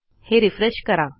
हे रिफ्रेश करा